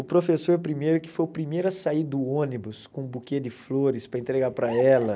O professor primeiro, que foi o primeiro a sair do ônibus com um buquê de flores para entregar para ela.